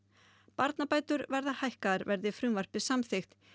barnabætur verða hækkaðar verði frumvarpið samþykkt